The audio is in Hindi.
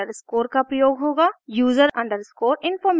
user underscore information